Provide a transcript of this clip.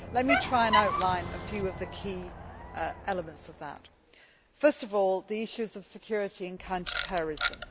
Let me try and outline a few of the key elements of that first of all, the issues of security and counter terrorism.